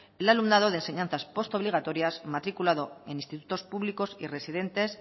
el alumnado de enseñanzas postobligatorias matriculado en institutos públicos y residentes